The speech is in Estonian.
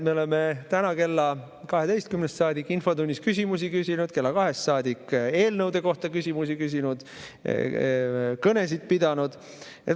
Me täna kella 12‑st saadik küsisime infotunnis küsimusi, kella 14‑st saadik oleme eelnõude kohta küsimusi küsinud ja kõnesid pidanud.